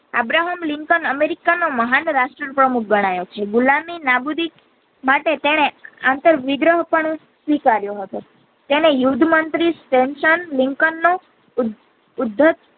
Abraham Lincoln અમેરિકાનો મહાન રાષ્ટ્ર પ્રમુખ ગણાયો છે ગુલામી નાબુદી માટે તેણે આંતર વિગ્રહ પણ સ્વીકાર્યો હતો તેને નિર્ધ મંત્રી સેમ્સન લિંકન નો ઉ ઉદ્યત